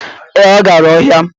Ee, ọ gara ọhịa